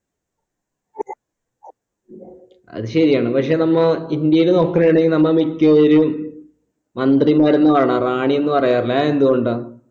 അത് ശരിയാണ് പക്ഷെ നമ്മോ ഇന്ത്യയിൽ നോക്കണേ ആണെങ്കി നമ്മ മിക്കവരും മന്ത്രിമാരൊന്നും വേണ്ട റാണി എന്ന് പറയാറില്ലേ അതെന്ത് കൊണ്ടാ